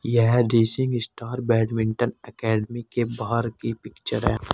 यह दृश्य एक स्टार बैडमिंटन अकादमी के बाहर की पिक्चर है।